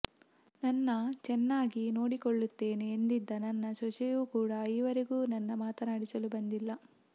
ನನ್ನ ಚೆನ್ನಾಗಿ ನೋಡಿಕೊಳ್ಳುತ್ತೇನೆ ಎಂದಿದ್ದ ನನ್ನ ಸೊಸೆಯೂ ಕೂಡಾ ಈವರೆಗೂ ನನ್ನ ಮಾತನಾಡಿಸಲು ಬಂದಿಲ್ಲ